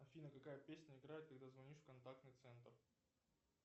афина какая песня играет когда звонишь в контактный центр